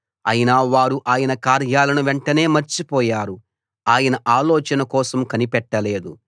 అయినా వారు ఆయన కార్యాలను వెంటనే మర్చిపోయారు ఆయన ఆలోచన కోసం కనిపెట్టుకోలేదు